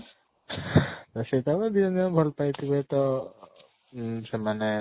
ତା ସେ ତାକୁ ଦି ଜଣ ଯାକୁ ଭଲ ପାଇ ଥିବେ ତ ଇ ସେମାନେ